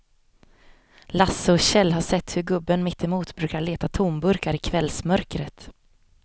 Lasse och Kjell har sett hur gubben mittemot brukar leta tomburkar i kvällsmörkret.